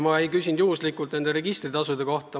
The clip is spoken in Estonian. Ma ei küsinud juhuslikult registritasude kohta.